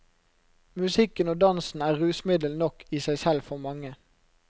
Musikken og dansen er rusmiddel nok i seg selv for mange.